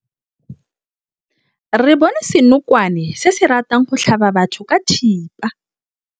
Re bone senokwane se se ratang go tlhaba batho ka thipa.